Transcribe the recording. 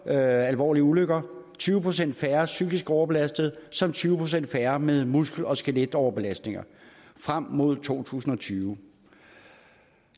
alvorlige ulykker tyve procent færre psykisk overbelastede samt tyve procent færre med muskel og skeletoverbelastninger frem mod to tusind og tyve